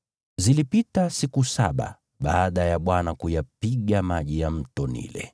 Zilipita siku saba baada ya Bwana kuyapiga maji ya Mto Naili.